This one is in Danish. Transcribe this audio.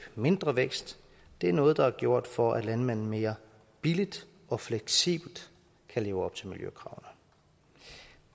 mindre vækst det er noget der er gjort for at landmanden mere billigt og fleksibelt kan leve op til miljøkravene